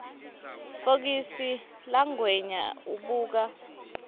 fokisi langwenya ubuka